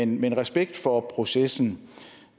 men respekt for processen